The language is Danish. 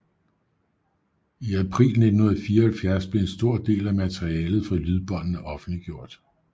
I april 1974 blev en stor del af materialet fra lydbåndene offentliggjort